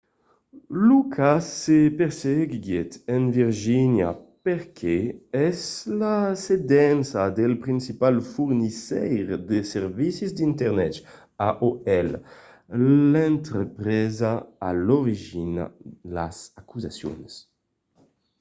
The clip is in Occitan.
lo cas se perseguiguèt en virgínia perque es la sedença del principal fornisseire de servicis d'internet aol l'entrepresa a l'origina las acusacions